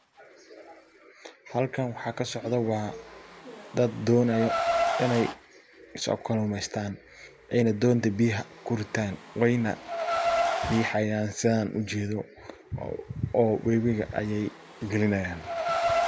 Halkan waxa kasocdo waa dad donaya iney so kalumestan ,ayna donta biyaha kuritan weyna rihayan san u jedoo oo wabigaa ayey galinayan.